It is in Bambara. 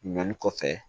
Ɲɔli kɔfɛ